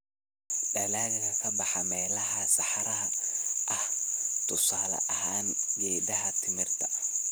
Dalagga ka baxa meelaha saxaraha ah: tusaale ahaan, geedaha timirta.